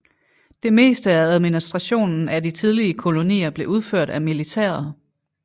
Det meste af administrationen af de tidlige kolonier blev udført af militæret